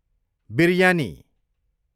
biryani